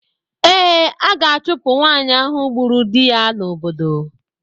Ee, a ga-achụpụ nwaanyị ahụ gburu di ya n'obodo.